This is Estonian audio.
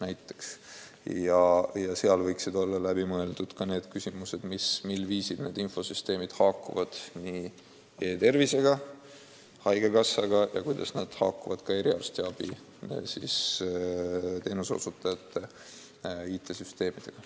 Seejuures võiksid olla läbi mõeldud ka küsimused, mil viisil need infosüsteemid haakuvad e-tervise ja haigekassa andmebaasiga, samuti eriarstiabi IT-süsteemidega.